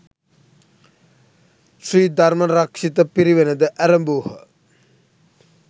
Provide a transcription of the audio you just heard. ශ්‍රී ධර්මරක්‍ෂිත පිරිවෙනද ඇරැඹූහ.